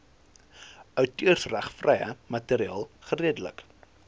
outeursregvrye materiaal geredelik